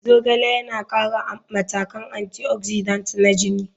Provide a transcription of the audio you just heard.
Zogale yana ƙara matakan antioxidant na jini.